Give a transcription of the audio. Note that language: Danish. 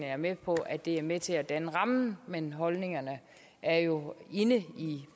er med på at det er med til at danne rammen men holdningerne er jo inde i